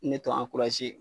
Ne t'o